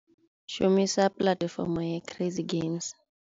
Shumisa platform ya crazy games.